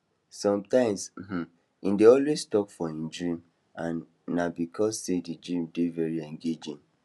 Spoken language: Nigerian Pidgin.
sometimes um he dey always talk for him dream and na because sey the dream dey very engaging